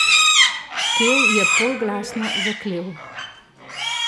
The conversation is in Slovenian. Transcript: Kev je polglasno zaklel.